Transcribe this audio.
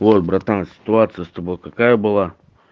ой братан ситуация с тобой какая была